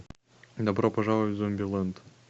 добро пожаловать в зомбилэнд